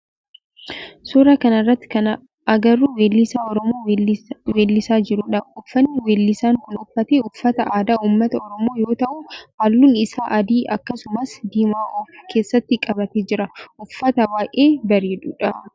suuraa kana irratti kan agarru weellisaa oromoo weellisaa jirudha. Uffanni weellisaan kun uffate uffata aadaa ummata oromoo yoo ta'u halluun isaa adii akkasumas diimaa of keessatti qabatee jira. Uffata baayyee bareeduudha.